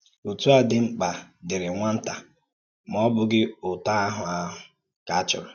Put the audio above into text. Ùtọ̀ dị́ mkpa dịrị ńwàtà, mà ọ̀ bụ̀ghị ùtọ̀ ànụ́-àhụ̀ kà a chọ̀rọ̀